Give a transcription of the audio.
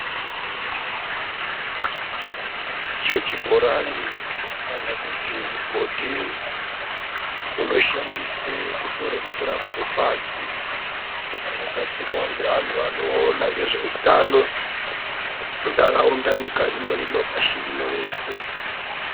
Icho chibhorani kana kuti mugodhi unoshandiswe kutora mvura kubve pasi, wakagadzirwa ngeantu anoona ngezveutano mundaraunda ,nyika rino pashi rino reshe.